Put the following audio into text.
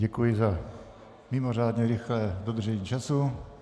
Děkuji za mimořádně rychlé dodržení času.